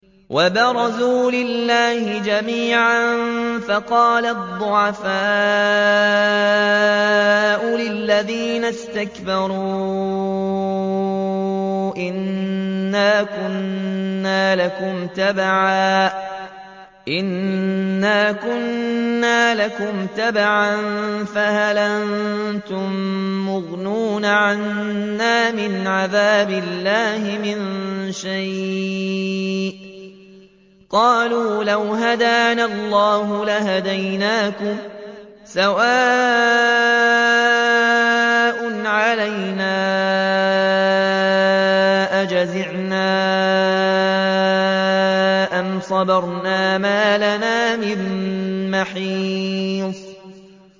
وَبَرَزُوا لِلَّهِ جَمِيعًا فَقَالَ الضُّعَفَاءُ لِلَّذِينَ اسْتَكْبَرُوا إِنَّا كُنَّا لَكُمْ تَبَعًا فَهَلْ أَنتُم مُّغْنُونَ عَنَّا مِنْ عَذَابِ اللَّهِ مِن شَيْءٍ ۚ قَالُوا لَوْ هَدَانَا اللَّهُ لَهَدَيْنَاكُمْ ۖ سَوَاءٌ عَلَيْنَا أَجَزِعْنَا أَمْ صَبَرْنَا مَا لَنَا مِن مَّحِيصٍ